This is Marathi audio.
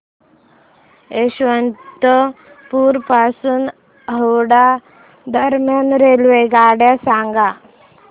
यशवंतपुर पासून हावडा दरम्यान रेल्वेगाड्या सांगा